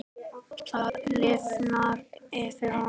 Það lifnaði yfir honum.